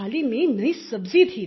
थाली में नयी सब्जी थी